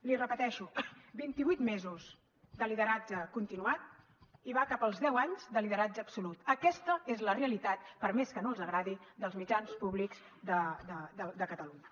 l’hi repeteixo vint i vuit mesos de lideratge continuat i va cap als deu anys de lideratge absolut aquesta és la realitat per més que no els agradi dels mitjans públics de catalunya